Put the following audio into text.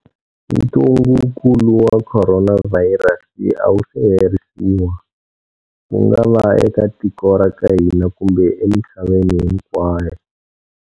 Ntungukulu wa Khoronavhayirasi a wu se herisiwa, ku nga va eka tiko ra ka hina kumbe emisaveni hinkwayo.